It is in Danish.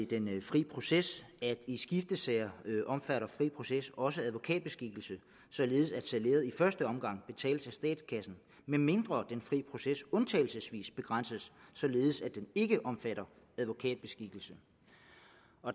den fri proces at i skiftesager omfatter fri proces også advokatbeskikkelse således at salæret i første omgang betales af statskassen medmindre den fri proces undtagelsesvis begrænses således at den ikke omfatter advokatbeskikkelse